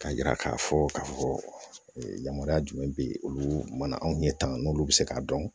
K'a yira k'a fɔ k'a fɔ yamara jumɛn bɛ yen olu mana anw ye tanga n'olu bɛ se k'a dɔn